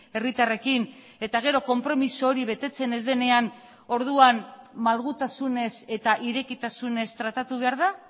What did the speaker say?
herritarrekin eta gero konpromiso hori betetzen ez denean orduan malgutasunez eta irekitasunez tratatu behar da